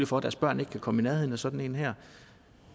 for at deres børn ikke kan komme i nærheden af sådan en her